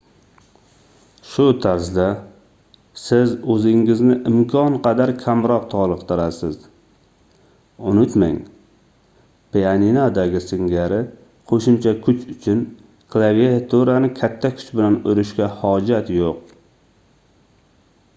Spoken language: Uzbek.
shu tarzda siz oʻzingizni imkon qadar kamroq toliqtirasiz unutmang pianinodagi singari qoʻshimcha kuch uchun klaviaturani katta kuch bilan urishga hojat yoʻq